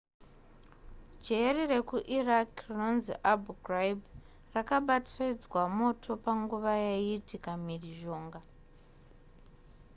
jeri rekuiraq rinonzi abu ghraib rakabatidzwa moto panguva yaiitika mhirizhonga